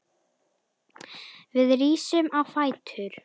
Við rísum á fætur.